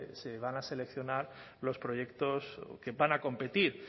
se van a seleccionar los proyectos que van a competir